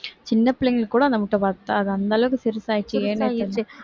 சின்ன பிள்ளைங்களுக்கு கூட அந்த முட்டை பத்தாது அந்த அளவுக்கு சிறுசாயிருச்சு